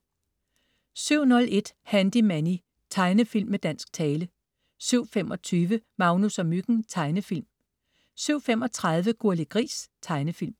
07.01 Handy Manny. Tegnefilm med dansk tale 07.25 Magnus og Myggen. Tegnefilm 07.35 Gurli Gris. Tegnefilm